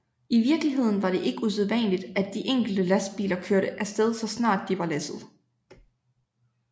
I virkeligheden var det ikke usædvanligt at de enkelte lastbiler kørte af sted så snart de var læsset